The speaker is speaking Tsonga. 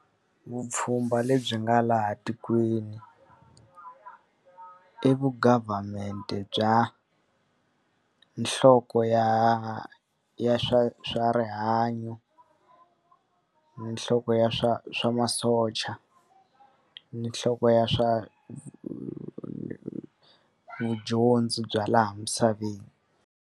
Vupfhumba lebyi nga laha tikweni i vu government bya nhloko ya ya swa swa rihanyo, ni nhloko ya swa swa masocha, ni nhloko ya swa vudyondzi bya laha misaveni.